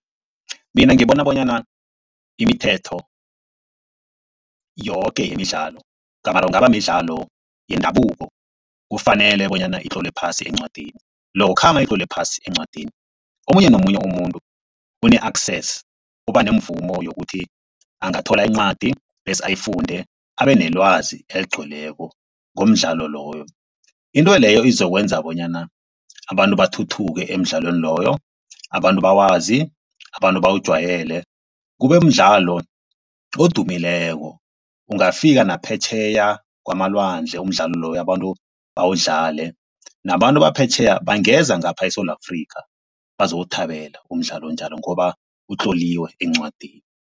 Mina ngibona bonyana imithetho yoke yemidlalo gamare kungaba midlalo yendabuko kufanele bonyana itlolwe phasi encwadini lokha nayitlolwe phasi encwadini, omunye nomunye umuntu une-access uba nemvumo yokuthi angathola incwadi bese ayifunde abe nelwazi eligcweleko ngomdlalo loyo. Into leyo izokwenza bonyana abantu bathuthuke emidlalweni loyo. Abantu bawazi abantu bawujwayele kube mdlalo odumileko. Ungafika naphetjheya kwamalwandle umdlalo loyo. Abantu bawudlale nabantu baphetjheya, bangeza ngapha eSewula Afrika bazowuthabela umdlalo onjalo ngoba utloliwe encwadini.